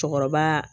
Cɔkɔrɔba